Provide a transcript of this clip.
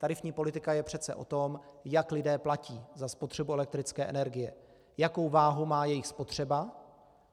Tarifní politika je přece o tom, jak lidé platí za spotřebu elektrické energie, jakou váhu má jejich spotřeba.